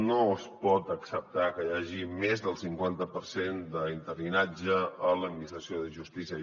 no es pot acceptar que hi hagi més del cinquanta per cent d’interinatge a l’administració de justícia